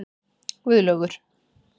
Guðlaugur